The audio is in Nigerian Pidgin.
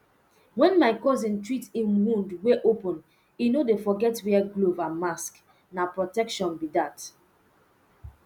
when my cousin treat um wound wey open e no dey forget wear glove and mask na protection be that